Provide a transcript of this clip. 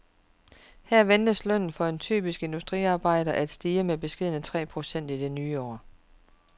Her ventes lønnen for en typisk industriarbejder at stige med beskedne tre procent i det nye år.